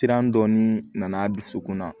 Siran dɔɔnin nana dusukun na